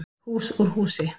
Hús úr húsi